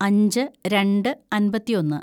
അഞ്ച് രണ്ട് അമ്പത്തിയൊന്ന്‌